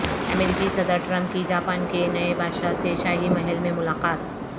امریکی صدر ٹرمپ کی جاپان کے نئے بادشاہ سے شاہی محل میں ملاقات